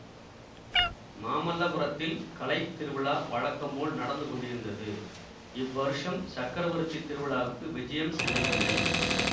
மாமல்லபுரத்தில் கலை திருவிழா வழக்கம் போல் நடந்து கொண்டிருந்தது இவ்வருஷம் சக்கரவர்த்தி திருவிழாவுக்கு விஜயம் செய்யவில்லை